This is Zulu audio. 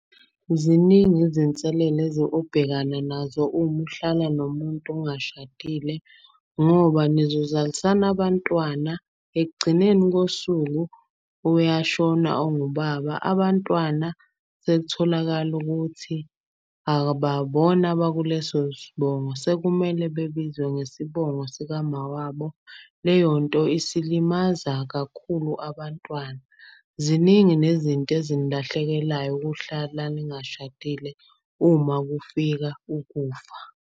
Ziningi izinselele obhekana nazo uma uhlala nomuntu ungashadile. Ngoba nizozalisana abantwana ekugcineni kosuku uyashona ongubaba. Abantwana sekutholakala ukuthi abakuleso sibongo, sekumele bebizwe ngesibongo sikamawabo. Leyonto isilimaza kakhulu abantwana. Ziningi nezinto ezinilahlekelayo ukuhlala ningashadile uma kufika ukufa.